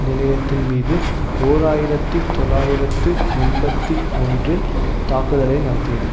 நிலையத்தின்மீது ஓராயிரத்தி தொள்ளாயிரத்து எண்பத்தி ஒன்றில் தாக்குதலை நடத்தியது